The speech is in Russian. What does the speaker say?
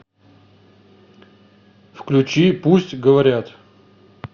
включи пусть говорят